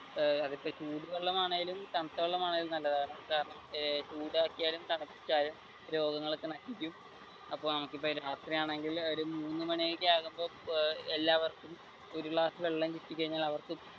അതിപ്പോ ചൂട് വെള്ളമാണെങ്കിലും തണുത്ത വെള്ളമാണെങ്കിലും നല്ലതാണ് ചൂടാക്കിയാലും തണുപ്പിച്ചാലും രോഗങ്ങളൊക്കെ നശിക്കും അപ്പൊ രാത്രിയാണെങ്കിൽ ഒരു മൂന്ന് മണി ഒക്കെയാകുമ്പോൾ എല്ലാവര്ക്കും ഒരു ഗ്ലാസ് വെള്ളം കിട്ടി കഴിഞ്ഞാൽ അവർക്കും